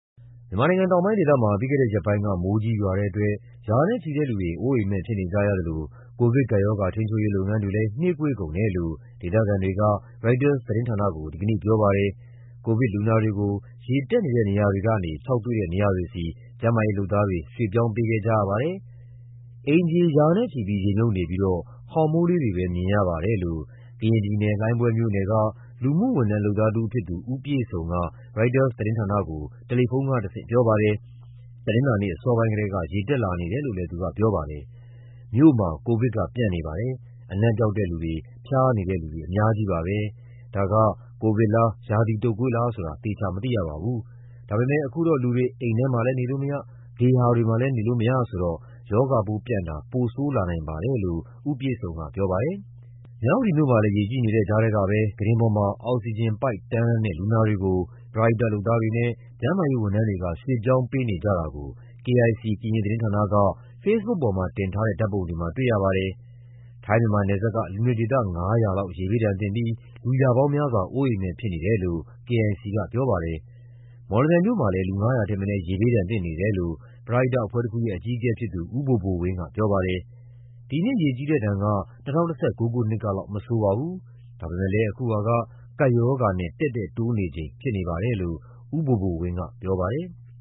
မြန်မာနိုင်ငံတောင်ပိုင်းဒေသမှာ ပြီးခဲ့တဲ့ရက်ပိုင်းက မိုးကြီးရွာတဲ့အတွက် ရာနဲ့ချီတဲ့လူတွေ အိုးအိမ်မဲ့ဖြစ်နေကြရသလို ကိုဗစ်ကပ်ရောဂါ ထိန်းချုပ်ရေး လုပ်ငန်းတွေလည်း နှေးကွေးကုန်တယ်လို့ ဒေသခံတွေက ရိုက်တာသတင်းဌာနကို ဒီကနေ့ပြောပါတယ်။ ကိုဗစ်လူနာတွေကို ရေတက်နေတဲ့နေရာတွေကနေ ခြောက်သွေ့တဲ့နေရာတွေဆီ ကျန်းမာရေးလုပ်သားတွေ ရွှေ့ပြောင်းပေးခဲ့ကြရပါတယ်။ "အိမ်ခြေ ရာနဲ့ချီပြီး ရေမြုပ်နေပြီးတော့ ခေါင်မိုးလေးတွေပဲ မြင်ရပါတယ်" လို့ ကရင်ပြည်နယ်၊ လှိုင်းဘွဲမြို့နယ်က လူမှုဝန်ထမ်း လုပ်သားတဦးဖြစ်သူ ဦးပြည့်စုံက ရိုက်တာသတင်းဌာနကို တယ်လီဖုန်းကတဆင့် ပြောပါတယ်။ တနင်္လာနေ့အစောပိုင်းကတည်းက ရေတက်လာနေတယ်လို့လည်း သူကပြောပါတယ်။ "မြို့မှာ ကိုဗစ်က ပျံ့နေပါတယ်။ အနံ့ပျောက်တဲ့လူတွေ၊ ဖျားနေတဲ့လူတွေ အများကြီးပါပဲ။ ဒါက ကိုဗစ်လား၊ ရာသီတုတ်ကွေးလားဆိုတာ သေချာမသိရပါဘူး။ ဒါပေမယ့် အခုတော့ လူတွေ အိမ်ထဲမှာလည်း နေလို့မရ၊ ဂေဟာတွေမှာလည်း နေလို့မရဆိုတော့ ရောဂါပိုးပျံ့တာ ပိုဆိုးလာနိုင်ပါတယ်" လို့ ဦးပြည့််စုံက ပြောပါတယ်။ မြဝတီမြို့မှာလည်း ရေကြီးနေတဲ့ကြားထဲကပဲ ကုတင်ပေါ်မှာ အောက်ဆီဂျင်ပိုက်တန်းလန်းနဲ့ လူနာတွေကို ပရဟိတလုပ်သားတွေနဲ့ ကျန်းမာရေးဝန်ထမ်းတွေက ရွှေ့ပြောင်းပေးနေကြတာကို KIC သတင်းဌာနက ဖေ့စ်ဘုတ်ပေါ်မှာတင်ထားတဲ့ ဓာတ်ပုံတွေမှာ တွေ့ရပါတယ်။ ထိုင်း-မြန်မာနယ်စပ်က လူနေဒေသ ၅၀၀ လောက် ရေဘေးဒဏ်သင့်ပြီး လူရာပေါင်းများစွာ အိုးအိမ်မဲ့ဖြစ်နေတယ်လို့ KIC ကပြောပါတယ်။ မော်လမြိုင်မြို့မှာလည်း လူ ၅၀၀ ထက်မနည်း ရေဘေးဒဏ်သင့်နေတယ်လို့ ပရဟိတအဖွဲ့တခုရဲ့ အကြီးအကဲဖြစ်သူ ဦးဘိုဘိုဝင်းကပြောပါတယ်။ "ဒီနှစ်ရေကြီးတဲ့ဒဏ်က ၂၀၁၉ ခုနှစ်ကလောက် မဆိုးပါဘူး၊ ဒါပေမယ့် အခုဟာက ကပ်ရောဂါနဲ့ တည့်တည့်တိုးနေချိန်ဖြစ်နေပါတယ်" လို့ ဦးဘိုဘိုဝင်းကပြောပါတယ်။